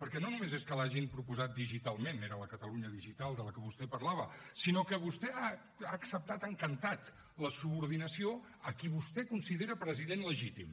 perquè no només és que l’hagin proposat digitalment era la catalunya digital de la qual vostè parlava sinó que vostè ha acceptat encantat la subordinació a qui vostè considera president legítim